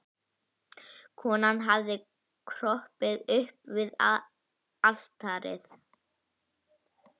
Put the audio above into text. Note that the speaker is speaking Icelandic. Konan hafði kropið upp við altarið.